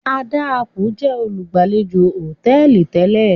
Adaaku jẹ olugbalejò hotẹẹli tẹlẹ.